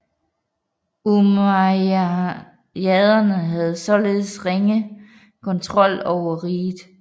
Umayyaderne havde således ringe kontrol over riget